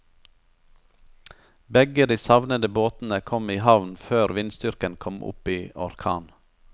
Begge de savnede båtene kom i havn før vindstyrken kom opp i orkan.